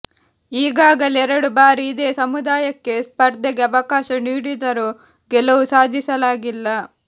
ಈಗಾಗಲೇ ಎರಡು ಬಾರಿ ಇದೇ ಸಮುದಾಯಕ್ಕೆ ಸ್ಪರ್ಧೆಗೆ ಅವಕಾಶ ನೀಡಿದರೂ ಗೆಲುವು ಸಾಧಿಸಲಾಗಿಲ್ಲ